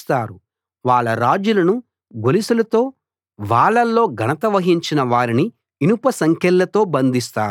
వాళ్ళ రాజులను గొలుసులతో వాళ్ళలో ఘనత వహించిన వారిని ఇనుప సంకెళ్లతో బంధిస్తారు